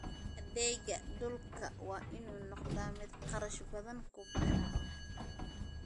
Adeegga dhulku waa inuu noqdaa mid kharash badan ku baxa.